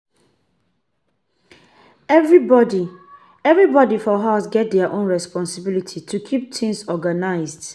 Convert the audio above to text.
Everybody Everybody for house get their own responsibilities to keep things organized.